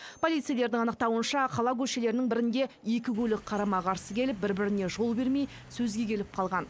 полицейлердің анықтауынша қала көшелерінің бірінде екі көлік қарама қарсы келіп бір біріне жол бермей сөзге келіп қалған